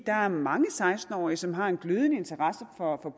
der er mange seksten årige som har en glødende interesse for